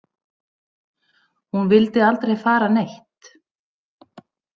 Hún vildi aldrei fara neitt.